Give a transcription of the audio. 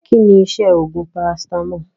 Kínní iṣẹ́ oògùn paracetamol?